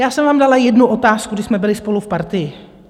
Já jsem vám dala jednu otázku, když jsme byli spolu v Partii.